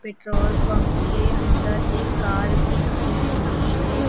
Petrol pump के अंदर एक कार भी खड़ी हुई है।